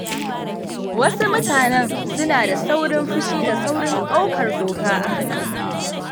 Wasu mutanen suna da saurin fushi da saurin ɗaukar doka a hannu.